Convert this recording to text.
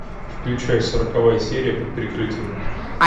включай сороковая серия под прикрытием